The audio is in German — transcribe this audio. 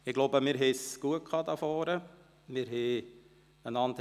Ich glaube, wir hatten es gut hier vorne, ergänzten einander.